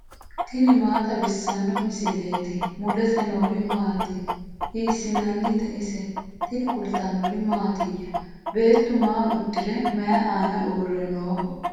tini maa xawissanno misileeti ? mulese noori maati ? hiissinannite ise ? tini kultannori mattiya? Beettu maa udirre mayi aanna uure nooho?